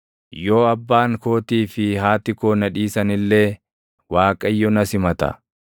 Yoo abbaan kootii fi haati koo na dhiisan illee, Waaqayyo na simata.